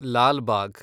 Lalbagh